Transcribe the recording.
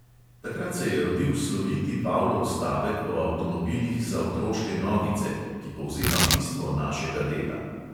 "Takrat se je rodil sloviti pavlov stavek o avtomobilih za otroške nogice, ki povzema bistvo našega dela.